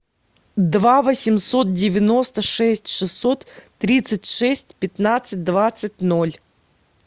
два восемьсот девяносто шесть шестьсот тридцать шесть пятнадцать двадцать ноль